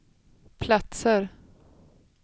platser